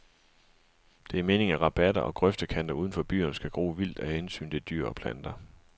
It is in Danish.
Det er meningen, at rabatter og grøftekanter udenfor byerne skal gro vildt af hensyn til dyr og planter.